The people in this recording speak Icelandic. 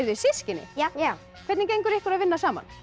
þið systkini já hvernig gengur ykkur að vinna saman